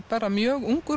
mjög ungur